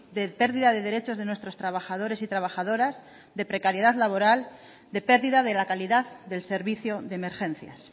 de pérdida de derechos de nuestros trabajadores y trabajadoras de precariedad laboral de pérdida de la calidad del servicio de emergencias